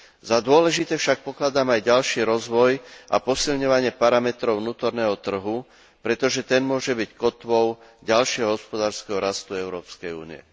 Za dôležité však pokladám aj ďalší rozvoj a posilňovanie parametrov vnútorného trhu, pretože ten môže byť kotvou ďalšieho hospodárskeho rastu Európskej únie.